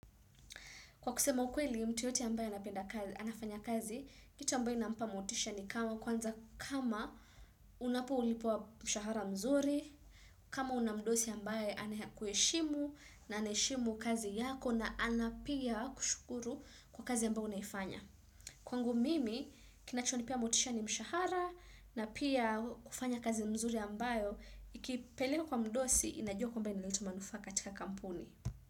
Kwa kusema ukweli mtu yote ambaye anapenda kazi anafanya kazi, kitu ambayo inampa motisha ni kama kwanza kama unapolipwa mshahara mzuri, kama unamdosi ambaye ana kuheshimu na anaheshimu kazi yako na anapia kushukuru kwa kazi ambao unaifanya. Kwa ngu mimi kinachonipea motisha ni mshahara na pia kufanya kazi mzuri ambayo, ikipelewa kwa mdosi inajua kwa mba inaleta manufaa katika kampuni.